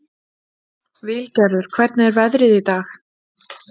Vilgerður, hvernig er veðrið í dag?